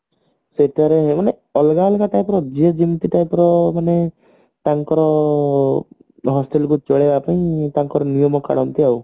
ଅଲଗା ଅଲଗା type ର ଯିଏ ଯେମତି type ର ମାନେ ତାଙ୍କର hostel କୁ ଚଳେଇବା ପାଇଁ ତାଙ୍କର ନିୟମ ପାଳନ୍ତି ଆଉ